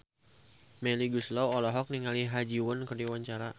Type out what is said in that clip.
Melly Goeslaw olohok ningali Ha Ji Won keur diwawancara